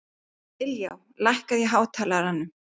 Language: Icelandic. Ylja, lækkaðu í hátalaranum.